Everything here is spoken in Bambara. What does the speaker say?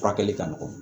Furakɛli ka nɔgɔn